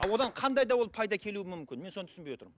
ал одан қандай да ол пайда келуі мүмкін мен соны түсінбей отырмын